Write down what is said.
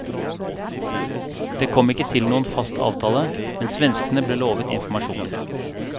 Det kom ikke til noen fast avtale, men svenskene ble lovet informasjoner.